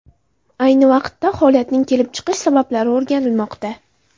Ayni vaqtda holatning kelib chiqish sabablari o‘rganilmoqda.